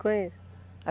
Conheço.